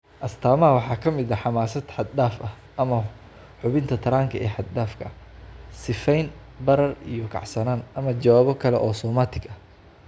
Astaamaha waxaa ka mid ah xamaasad xad dhaaf ah ama xubinta taranka ee xad-dhaafka ah (sifeyn, barar, iyo kacsanaan) ama jawaabo kale oo somatic ah.